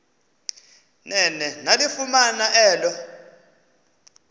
nene yalifumana elo